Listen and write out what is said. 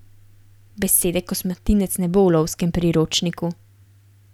Besede kosmatinec ne bo v lovskem priročniku.